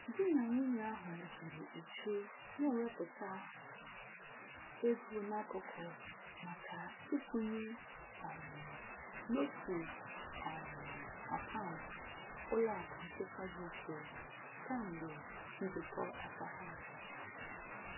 Di na nwunye ahụ jiri uchu n'ewepụta ego n'akụkụ maka ịkwụnye um n'otu um akaụntụ ụlọakụ nchekwa dị iche, kamgbe njikọ aka ha.